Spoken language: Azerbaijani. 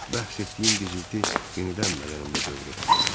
Bayaq bəhs etdiyim gizilti yenidən bədənimdə dövr etdi.